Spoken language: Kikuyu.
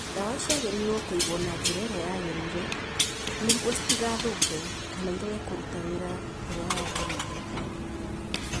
Ndawa ciagĩrĩirũo kũigwo na njĩra ĩrĩa yagĩrĩire nĩguo citigathũke kana ĩrege kũruta wĩra ũrĩa yagĩrĩire.